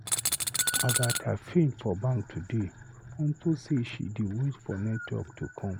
Agatha faint for bank today unto say she dey wait for network to come.